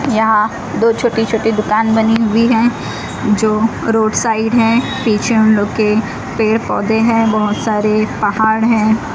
यहां दो छोटी छोटी दुकान बनी हुई है जो रोड साइड है पीछे हम लोग के पेड़ पौधे हैं बहोत सारे पहाड़ हैं।